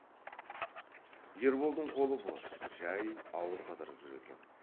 ерболдың қолы бос жай ауыл қыдырып жүр екен